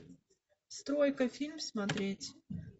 стройка фильм смотреть